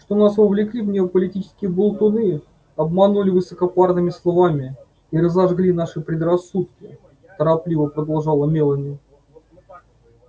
что нас вовлекли в нее политические болтуны обманули высокопарными словами и разожгли наши предрассудки торопливо продолжала мелани